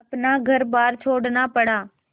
अपना घरबार छोड़ना पड़ा